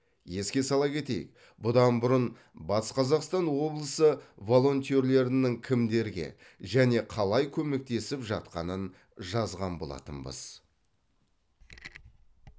еске сала кетейік бұдан бұрын батыс қазақстан облысы волонтерлерінің кімдерге және қалай көмектесіп жатқанын жазған болатынбыз